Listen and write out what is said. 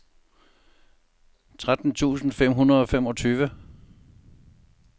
tretten tusind fem hundrede og femogtyve